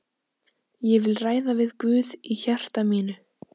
Ég vil ræða við Guð í hjarta mínu.